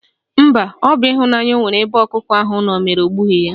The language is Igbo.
Mba, ọ bụ ịhụnanya ọ nwere ebe ọkụkọ ahụ nọ mere o gbughi y